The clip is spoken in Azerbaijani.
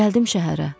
Gəldim şəhərə.